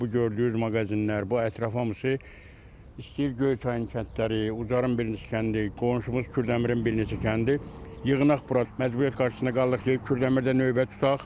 Bax bu gördüyünüz mağazinlər, bu ətraf hamısı istəyir Göyçayın kəndləri, Ucarın bir neçə kəndi, qonşumuz Kürdəmirin bir neçə kəndi yığnaq bura, məcburiyyət qarşısında qalırıq ki, Kürdəmirdə növbə tutaq.